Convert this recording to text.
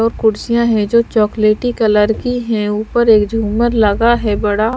और कुर्सियाँ हैं जो चॉकलेटी कलर की हैं ऊपर एक झूमर लगा है बड़ा--